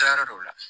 Taa yɔrɔ dɔw la